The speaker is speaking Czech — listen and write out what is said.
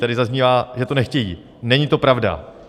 Tady zaznívá, že to nechtějí - není to pravda!